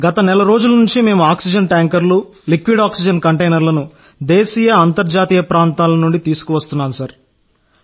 గత నెల రోజుల నుండి మేము ఆక్సిజన్ ట్యాంకర్లు లిక్విడ్ ఆక్సిజన్ కంటైనర్లను దేశీయ అంతర్జాతీయ ప్రాంతాల నుండి తీసుకువస్తున్నాం సార్